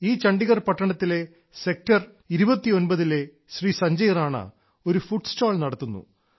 ഈ ചണ്ഡിഗർ പട്ടണത്തിലെ സെക്ടർ 29 ലെ ശ്രീ സഞ്ജയ് റാണ ഒരു ഫുഡ് സ്റ്റാൾ നടത്തുന്നു